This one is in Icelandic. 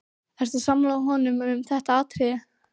Ertu sammála honum um þetta atriði?